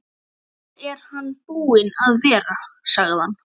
Nú er hann búinn að vera, sagði hann.